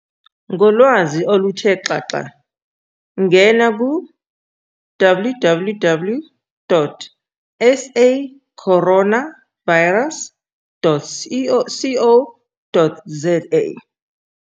Ngolwazi oluthe xaxa ngena ku-www.sacoronavirus.co.za